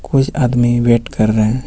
कुछ आदमी वेट कर रहे हैं.